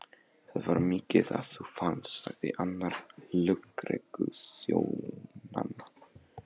Það var mikið að þú fannst, sagði annar lögregluþjónanna.